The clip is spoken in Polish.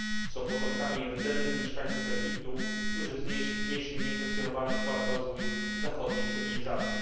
Są potomkami rdzennych mieszkańców Egiptu, którzy wnieśli niekwestionowany wkład w rozwój zachodniej cywilizacji.